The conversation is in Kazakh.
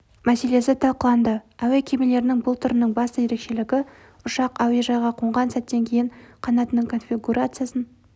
мәселесі талқыланды әуе кемелерінің бұл түрінің басты ерекшелігі ұшақ әуежайға қонған сәттен кейін қанатының конфигурациясын